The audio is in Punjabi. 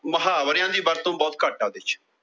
ਮੁਹਾਵਰਿਆਂ ਦੀ ਵਰਤੋਂ ਬਹੁਤ ਘਾਟ ਐ ਉਹਂਦੇ ਵਿੱਚ।